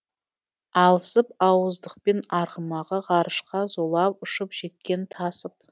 алысып ауыздықпен арғымағы ғарышқа зулап ұшып жеткен тасып